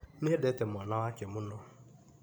Nĩendete mwana wake mũno,